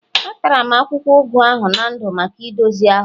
Atara m akwụkwọ ugu ahụ na ndụ maka ndozi ahụ